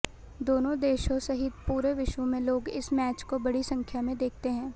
दोनों देशों सहित पुरे विश्व में लोग इस मैच को बड़ी संख्या में देखते हैं